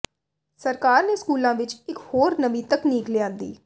ਸਰਕਾਰ ਨੇ ਸਕੂਲਾਂ ਵਿੱਚ ਇੱਕ ਹੋਰ ਨਵੀਂ ਤਕਨੀਕ ਲਿਆਂਦੀ